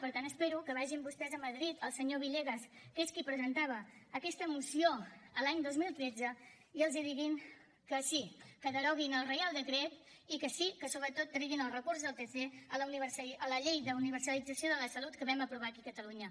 per tant espero que vagin vostès a madrid el senyor villegas que és qui presentava aquesta moció l’any dos mil tretze i els diguin que sí que deroguin el reial decret i que sí que sobretot treguin el recurs del tc a la llei d’universalització de la salut que vam aprovar aquí a catalunya